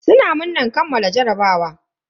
Suna murnan kammala jarabawa.